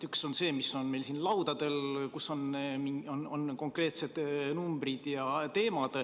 Üks on see, mis on meil siin laudadel, kus on konkreetsed numbrid ja teemad.